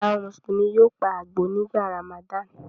Àwọn Mùsùlùmí yóò pa àgbò nígbà Ramadan.